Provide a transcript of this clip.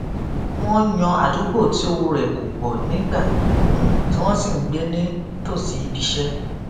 wọn yan àdúgbò tí owó rẹ kò pọ nígbà um tí wón sì ń gbé ní tòsí ibiiṣẹ